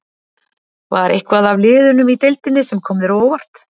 Var eitthvað af liðunum í deildinni sem kom þér á óvart?